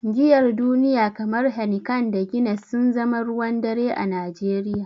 Giyar duniya kamar Heineken da Guinness sun zama ruwan dare a Najeriya.